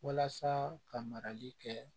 Walasa ka marali kɛ